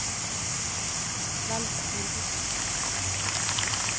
velg filmenyen